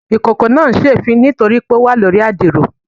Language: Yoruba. Ikoko naa n se èéfín nitori pe o wa lori adiro